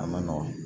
A ma nɔgɔn